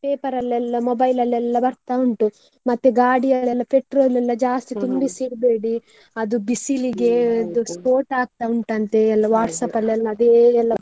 Paper ಅಲ್ಲೆಲ್ಲ mobile ಅಲ್ಲೆಲ್ಲ ಬರ್ತಾ ಉಂಟು ಮತ್ತೆ ಗಾಡಿಯಲ್ಲಿ ಎಲ್ಲ petrol ಎಲ್ಲ ಜಾಸ್ತಿ ಇಡ್ಬೇಡಿ, ಅದು ಸ್ಪೋಟ ಆಗ್ತಾ ಉಂಟಂತೆ, ಎಲ್ಲ ಅಲ್ಲೆಲ್ಲ ಅದೇ ಎಲ್ಲ,